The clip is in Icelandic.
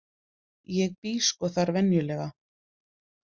ég bý sko þar venjulega.